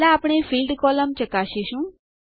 પહેલા આપણે field column ચકાસીશું